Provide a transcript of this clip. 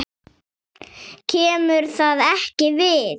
KEMUR ÞAÐ EKKI VIÐ!